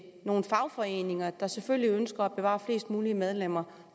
nogle fagforeninger der selvfølgelig ønsker at bevare flest mulige medlemmer